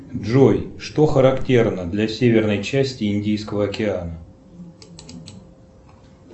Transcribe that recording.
джой что характерно для северной части индийского океана